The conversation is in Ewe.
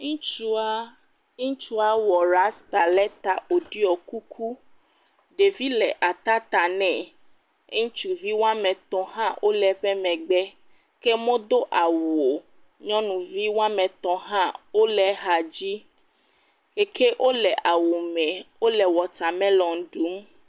Ŋutsua. Ŋutsua wɔ rasita ɖe ta woɖiɔ kuku. Ɖevi le atata nɛ. Ŋutsuvi woame tɔ̃ hã wole eƒe megbe ke wo medo awu o. Nyɔnuvi woanme tɔ̃ hã wole hã dzim ke wole awu me wole watamelɔni ɖum.